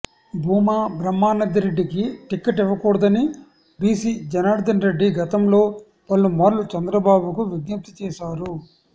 భూమా బ్రహ్మానంద రెడ్డికి టికెట్ ఇవ్వకూడదని బీసీ జనార్దన్ రెడ్డి గతంలో పలుమార్లు చంద్రబాబుకు విజ్ఞప్తి చేశారు